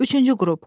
Üçüncü qrup.